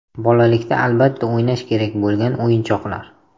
Bolalikda albatta o‘ynash kerak bo‘lgan o‘yinchoqlar.